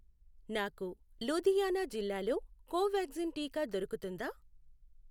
నాకు లూధియానా జిల్లాలో కోవాక్సిన్ టీకా దొరుకుతుందా?